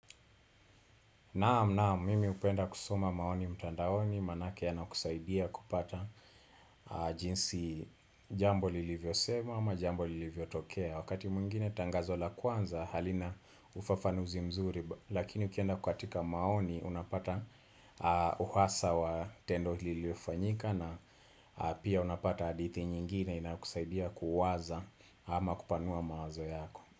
Naam naam mimi hupenda kusoma maoni mtandaoni manake yanakusaidia kupata jinsi jambo lilivyo semwa ama jambo lilivyotokea Wakati mwingine tangazo la kwanza halina ufafanuzi mzuri lakini ukienda katika maoni unapata uhasa wa tendo liliofanyika na pia unapata hadithi nyingine inakusaidia kuwaza ama kupanua mawazo yako.